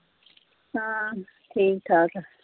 ਹਾਂ ਠੀਕ ਠਾਕ ਆ।